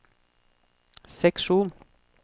seksjon